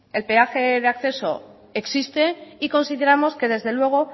el peaje de acceso existe y consideramos que desde luego